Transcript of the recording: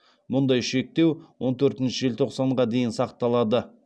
мұндай шектеу он төртінші желтоқсанға дейін сақталады